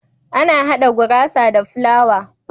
Ana hada gurasa da fulawa